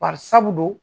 Bari sabu dun